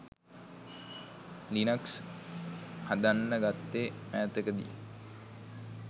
Linux හදන්න ගත්තෙ මෑතකදි.